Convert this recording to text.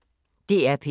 DR P1